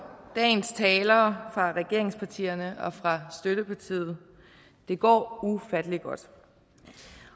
dagens talere fra regeringspartierne og fra støttepartiet det går ufattelig godt